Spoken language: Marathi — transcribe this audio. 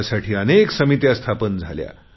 त्यासाठी अनेक समित्या स्थापन झाल्या